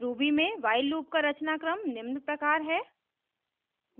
ruby में while loop का रचनाक्रम निम्न प्रकार है: